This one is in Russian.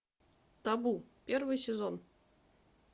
табу первый сезон